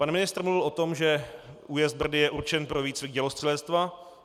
Pan ministr mluvil o tom, že újezd Brdy je určen pro výcvik dělostřelectva.